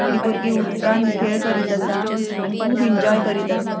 थोड़ी बुर्गी उदकांन खेळ करीत असा आणि खूब इन्जॉय करीत आसात.